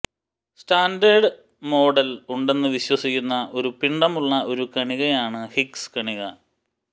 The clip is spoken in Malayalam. സ്റ്റാൻഡേർഡ് മോഡൽ ഉണ്ടെന്ന് വിശ്വസിക്കുന്ന ഒരു പിണ്ഡമുള്ള ഒരു കണികയാണ് ഹിഗ്ഗ്സ് കണിക